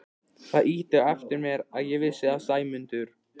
Það ýtti á eftir mér að ég vissi að Sæmundur